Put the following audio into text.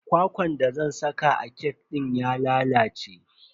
Kwakwan da zan saka a kek dina ya lalace.